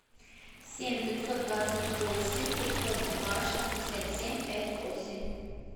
семь пятьсот двадцать восемь пятьсот два шестьдесят семь пять восемь